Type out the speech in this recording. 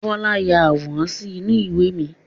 Bọlá ya àwòrán sì inú ìwé mi.